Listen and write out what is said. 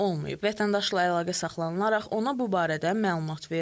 Vətəndaşla əlaqə saxlanılaraq ona bu barədə məlumat verilib.